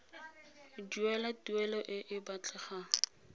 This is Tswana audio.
duela tuelo e e batlegang